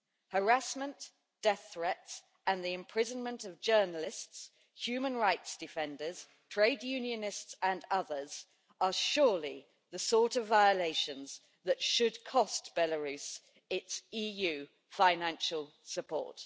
Harassment, death threats and the imprisonment of journalists, human rights defenders, trade unionists and others are surely the sort of violations that should cost Belarus its EU financial support.